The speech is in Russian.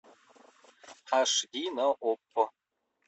аш ди на окко